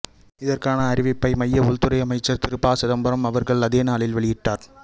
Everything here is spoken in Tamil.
இதற்கான அறிவிப்பை மைய உள் துறை அமைச்சர் திரு ப சிதம்பரம் அவர்கள் அதே நாளில் வெளியிட்டார்